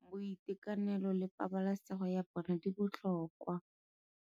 Boitekanelo le pabalesego ya bona di botlhokwa.